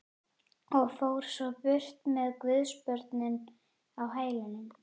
Og fór svo burt með guðsbörnin á hælunum.